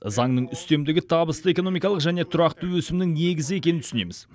заңның үстемдігі табысты экономикалық және тұрақты өсімнің негізі екенін түсінеміз